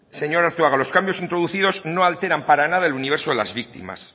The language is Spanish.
señor arzuaga los cambios introducidos no alteran para nada el universo de las víctimas